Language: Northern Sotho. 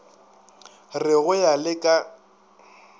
re go ya le ka